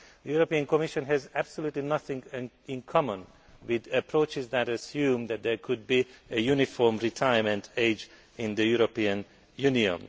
The Commission has absolutely nothing in common with approaches that assume that there could be a uniform retirement age in the European Union.